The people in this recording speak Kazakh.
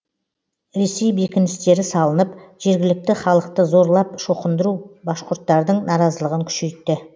ресей бекіністері салынып жергілікті халықты зорлап шоқындыру башқұрттардың наразылығын күшейтті